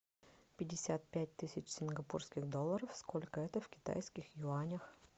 пятьдесят пять тысяч сингапурских долларов сколько это в китайских юанях